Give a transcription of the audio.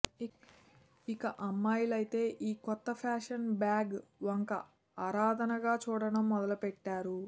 ఇక అమ్మాయిలయితే ఈ కొత్త ఫ్యాషన్ బ్యాగ్ వంక ఆరాధనగా చూడడం మొదలుపెట్టారు